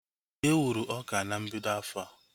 E wuru ọka na mbido afọa